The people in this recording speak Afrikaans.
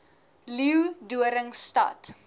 leeudoringstad